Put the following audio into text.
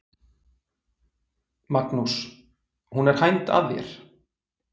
Magnús: Hún er hænd að þér?